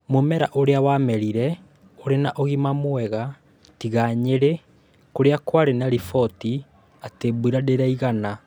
Mũmera ũrĩa ũramerire ũrĩ na ũgima mwega, tiga Nyeri kũrĩa kwarĩ na riboti atĩ mbura ndĩraigana.